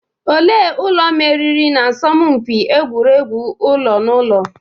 Ole ụlọ meriri na asọmpị egwuregwu ụlo na ụlọ?